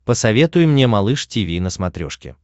посоветуй мне малыш тиви на смотрешке